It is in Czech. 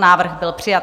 Návrh byl přijat.